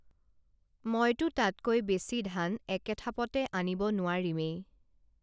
মইতো তাতকৈ বেছি ধান একে থাপতে আনিব নোৱাৰিমেই